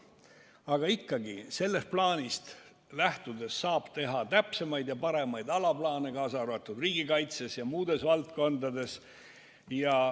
Aga ikkagi, sellest plaanist lähtudes saab teha täpsemaid ja paremaid alaplaane, kaasa arvatud riigikaitses ja muudes valdkondades.